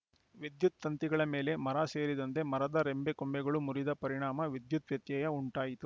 ವಿದ್ಯುತ್‌ ತಂತಿಗಳ ಮೇಲೆ ಮರ ಸೇರಿದಂತೆ ಮರದ ರೆಂಬೆಕೊಂಬೆಗಳು ಮುರಿದ ಪರಿಣಾಮ ವಿದ್ಯುತ್‌ ವ್ಯತ್ಯಯ ಉಂಟಾಯಿತು